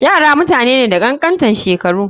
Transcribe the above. Yara mutane ne da kankantan shekaru.